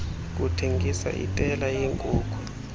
kuthengisa itela yeenkuku